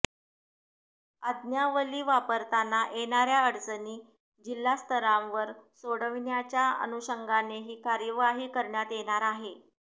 आज्ञावली वापरताना येणाऱया अडचणी जिल्हास्तरावर सोडविण्याच्या अनुषंगानेही कार्यवाही करण्यात येणार आहे